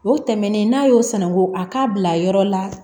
O tɛmɛnen n'a y'o sanangu a k'a bila yɔrɔ la